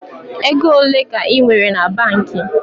Ego ole ka I nwere na banki?